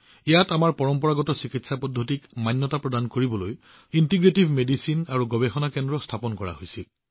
ইয়াত আমাৰ পৰম্পৰাগত চিকিৎসা পদ্ধতিবোৰ বৈধ কৰাৰ বাবে ছয় বছৰ পূৰ্বে ইণ্টিগ্ৰেটিভ মেডিচিন আৰু গৱেষণা কেন্দ্ৰ স্থাপন কৰা হৈছিল